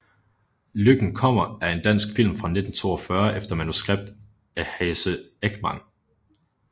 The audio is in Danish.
Lykken kommer er en dansk film fra 1942 efter manuskript af Hasse Ekman